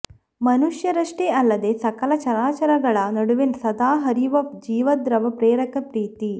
ಮನುಷ್ಯ ರಷ್ಟೇ ಅಲ್ಲದೇ ಸಕಲ ಚರಾಚರ ಗಳ ನಡುವೆ ಸದಾ ಹರಿವ ಜೀವದ್ರವ್ಯ ಪ್ರೇರಕ ಪ್ರೀತಿ